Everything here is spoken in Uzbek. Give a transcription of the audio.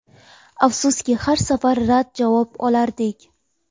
Afsuski, har safar rad javob olardik.